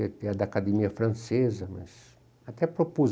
Vieram da academia francesa, mas até propus.